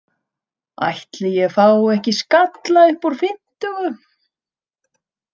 Ætli ég fái ekki skalla upp úr fimmtugu.